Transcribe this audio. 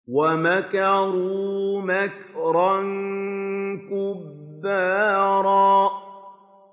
وَمَكَرُوا مَكْرًا كُبَّارًا